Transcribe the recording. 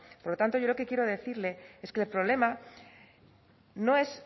por lo tanto yo lo que quiero decirle es que el problema no es